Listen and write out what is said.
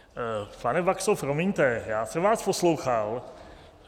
Pane Baxo, promiňte, já jsem vás poslouchal.